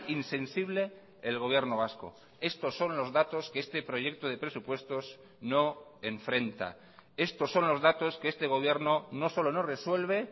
insensible el gobierno vasco estos son los datos que este proyecto de presupuestos no enfrenta estos son los datos que este gobierno no solo no resuelve